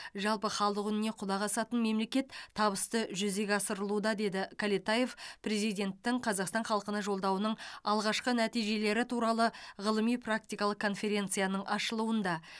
жалпы халық үніне құлақ асатын мемлекет табысты жүзеге асырылуда деді кәлетаев президенттің қазақстан халқына жолдауының алғашқы нәтижелері туралы ғылыми практикалық конференцияның ашылуында